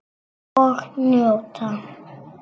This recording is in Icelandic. Og njóta.